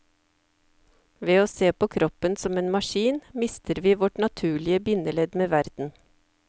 Ved å se på kroppen som en maskin mister vi vårt naturlige bindeledd med verden.